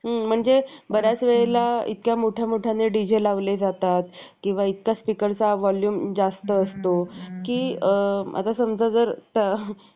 शेवटी त्या व्यक्तीचे हृदय फुगले. आणि ते साधूच्या पायावर घुढगे टेकून विनवणी करू लागले. महाराज, मी माफी मागतो. माझ्या सारख्या दृष्ट राक्षसाला कुठेही जागा नाही. अगदी नरकातही नाही.